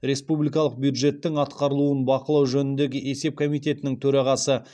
республикалық бюджеттің атқарылуын бақылау жөніндегі есеп комитетінің төрағасы